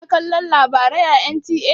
Kana kalon labarai a NTA?